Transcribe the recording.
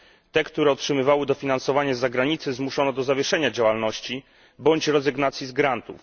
Te, które otrzymywały dofinansowanie z zagranicy, zmuszono do zawieszenia działalności bądź rezygnacji z grantów.